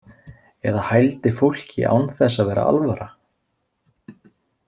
Eða hældi fólki án þess að vera alvara.